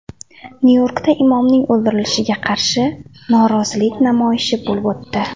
Nyu-Yorkda imomning o‘ldirilishiga qarshi norozilik namoyishi bo‘lib o‘tdi.